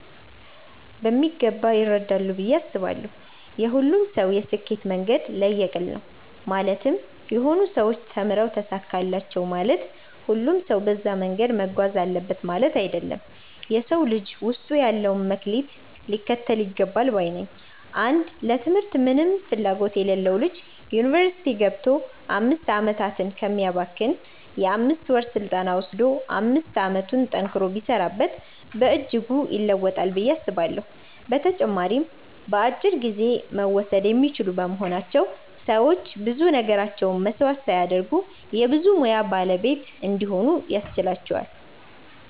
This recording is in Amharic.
በሚገባ ይረዳሉ ብዬ አስባለው። የሁሉም ሰው የስኬት መንገድ ለየቅል ነው ማለትም የሆኑ ሰዎች ተምረው ተሳካላቸው ማለት ሁሉም ሰው በዛ መንገድ መጓዝ አለበት ማለት አይደለም። የ ሰው ልጅ ውስጡ ያለውን መክሊት ሊከተል ይገባል ባይ ነኝ። አንድ ለ ትምህርት ምንም ፍላጎት የሌለው ልጅ ዩኒቨርስቲ ገብቶ 5 አመታትን ከሚያባክን የ 5ወር ስልጠና ወሰዶ 5 አመቱን ጠንክሮ ቢሰራበት በእጅጉ ይለወጣል ብዬ አስባለሁ። በተጨማሪም በአጭር ጊዜ መወሰድ የሚችሉ በመሆናቸው ሰዎች ብዙ ነገራቸውን መስዋዕት ሳያደርጉ የ ብዙ ሙያ ባለቤት እንዲሆኑ ያስችላቸዋል።